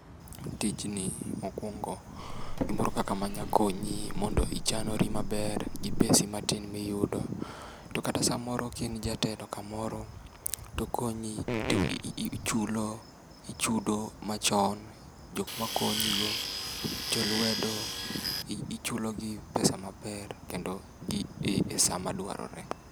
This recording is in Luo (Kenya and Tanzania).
Tijni mokuongo, gimoro kaka manyalo konyi mondo ichanri maber gi pesi matin miyudo, to kata samoro ka in jatelo kam oro to okonyi to ichulo ichudo machon. Jok makon yigo, jolwedo, ichulogi pesa maber kendo esaa madwarore.